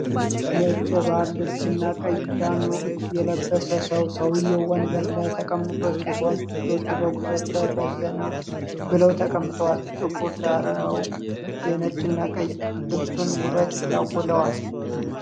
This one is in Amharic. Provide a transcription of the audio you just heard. ነጭ የባህል ልብስና ቀይ ጃኖ የለበሰ ሰው ። ሰውየው ወንበር ላይ ተቀምጦ ሲሆን፣ እጆቹ በጉልበቱ ላይ በዘና ብለው ተቀምጠዋል። ጥቁር ዳራው፣ የነጭና ቀይ ልብሱን ውበት ያጎላል።